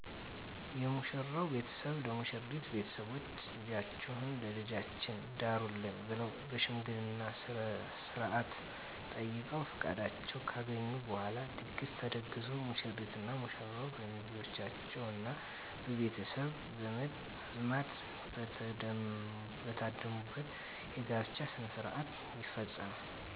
የሙሽራው ቤተሰብ ለሙሽሪት ቤተሰቦች ልጃችሁን ለልጃችን ዳሩልን ብለዉ በሽምገልና ስነስርአት ጠይቀዉ ፍቃዳቸውን ካገኙ በኋላ ድግስ ተደግሶ ሙሽሪትና ሙሽራው በሚዜዎቻቸዉና በቤተሰብ ዘመድ አዝማድ በተደሙበት የጋብቻ ሥነ ሥርዓት ይፈፀማል